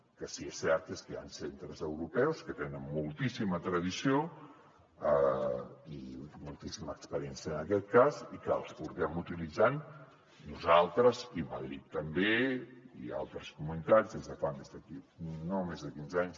el que sí que és cert és que hi han centres europeus que tenen moltíssima tradició i moltíssima experiència en aquest cas i que els hem utilitzat nosaltres i madrid també i altres comunitats des de fa quinze anys